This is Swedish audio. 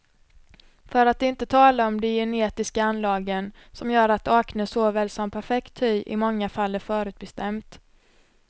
För att inte tala om de genetiska anlagen, som gör att acne såväl som perfekt hy i många fall är förutbestämt.